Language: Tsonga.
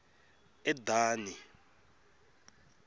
edani